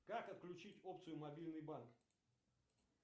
как отключить опцию мобильный банк